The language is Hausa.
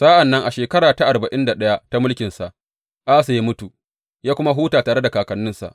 Sa’an nan a shekara ta arba’in da ɗaya ta mulkinsa, Asa ya mutu ya kuma huta tare da kakanninsa.